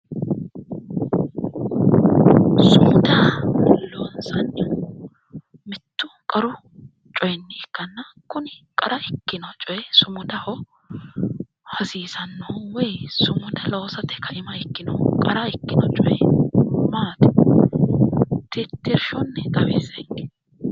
Sumuda loonsannihu mittu qaru coyinni ikkanna kuni qara ikkino coyi sumudaho hasiisannohu woyi sumuda loosate ka'ima ikkinohu qara ikkino coyi maati tittirshunni xawissenke